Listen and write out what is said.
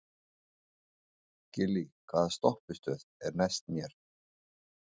Gillý, hvaða stoppistöð er næst mér?